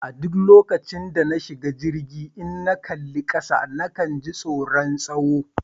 A duk lokacin da na shiga jirgi, idan na kalli kasa na kan ji tsoron tsawo.